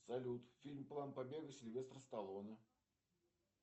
салют фильм план побега сильвестр столоне